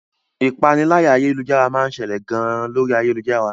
Ìpaniláyà ayélujára máa ń ṣẹlẹ̀ gan lórí ayélujára.